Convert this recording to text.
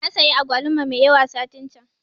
Nasayi agwaluma mai yawa satin can